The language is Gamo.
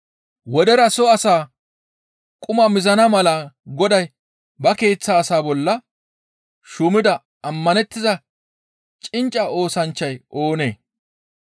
«Wodera soo asaa quma mizana mala goday ba keeththa asaa bolla shuumida ammanettiza cincca oosanchchay oonee?